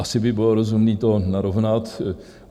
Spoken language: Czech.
Asi by bylo rozumné to narovnat.